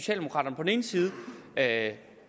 at